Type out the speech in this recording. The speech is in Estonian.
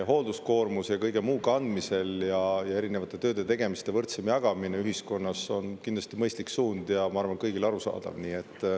Hoolduskoormuse ja kõige muu kandmisel erinevate tööde-tegemiste võrdsem jagamine ühiskonnas on kindlasti mõistlik suund ja ma arvan, et kõigile arusaadav.